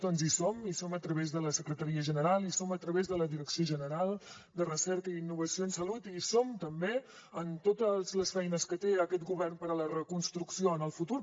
doncs hi som hi som a través de la secretaria general hi som a través de la direcció general de recerca i innovació en salut i hi som també en totes les feines que té aquest govern per a la reconstrucció en el futur